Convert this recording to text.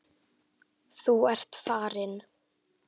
Þú ert farinn.